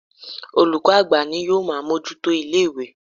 Olùkọ́ àgbà ní ó máa ń bojútó ilé ìwé.